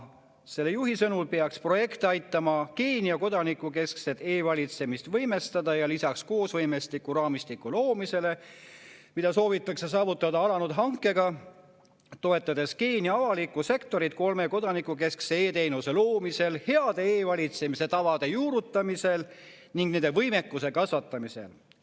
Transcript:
Tema sõnul peaks projekt aitama Keenia kodanikukeskset e‑valitsemist võimestada ja lisaks koosvõimeraamistiku loomisele, mida soovitakse alanud hankega saavutada, toetatakse Keenia avalikku sektorit kolme kodanikukeskse e‑teenuse loomisel, heade e‑valitsemise tavade juurutamisel ning nende võimekuse kasvatamisel.